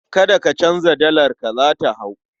Kada ka canza dalarka, za ta hau.